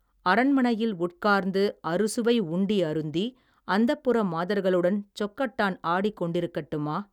அரண்மனையில் உட்கார்ந்து அறுசுவை உண்டி அருந்தி அந்தப்புர மாதர்களுடன் சொக்கட்டான் ஆடிக் கொண்டிருக்கட்டுமா.